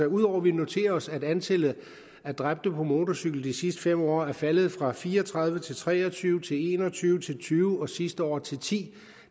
ud over at vi noterer os at antallet af dræbte på motorcykel i de sidste fem år er faldet fra fire og tredive til tre og tyve til en og tyve til tyve og sidste år til ti